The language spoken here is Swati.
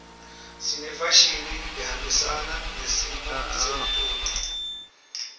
sinefashini lehambisana nesimo seltulu